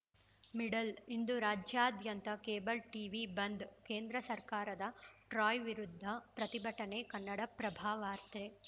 middle ಇಂದು ರಾಜ್ಯದಾದ್ಯಂತ cable TV bandh ಕೇಂದ್ರ ಸರ್ಕಾರದ ಟ್ರಾಯ್‌ ವಿರುದ್ಧ ಪ್ರತಿಭಟನೆ ಕನ್ನಡಪ್ರಭವಾರ್ತೆ